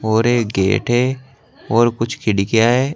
और एक गेट है और कुछ खिड़कियां हैं।